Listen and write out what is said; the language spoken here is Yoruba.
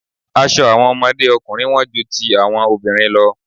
Aṣọ àwọn ọmọdé ọkùnrin wón ju ti àwọn obìnrin lọ.